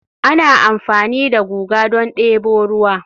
ana amfani da guga don debo ruwa